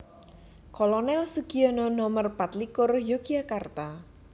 Kolonel Sugiono Nomer patlikur Yogyakarta